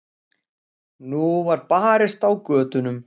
Nú var barist á götunum.